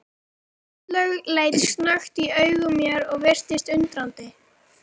Áslaug leit snöggt í augu mér og virtist undrandi.